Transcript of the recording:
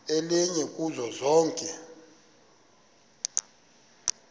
elinye kuzo zonke